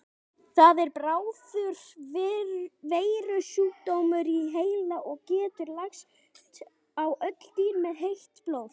Það er bráður veirusjúkdómur í heila og getur lagst á öll dýr með heitt blóð.